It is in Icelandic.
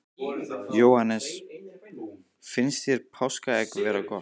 Jóhannes: Finnst þér páskaegg vera góð?